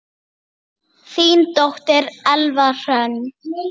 Þín dóttir, Elfa Hrönn.